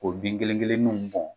Ko bin kelen kelenninw bɔn